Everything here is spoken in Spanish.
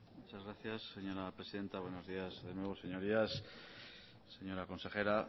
muchas gracias señora presidenta buenos días de nuevo señorías señora consejera